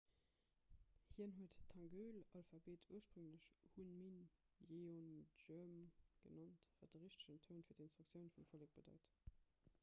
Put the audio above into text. hien huet d'hangeul-alphabet ursprénglech hunmin jeongeum genannt wat de richtegen toun fir d'instruktioun vum vollek bedeit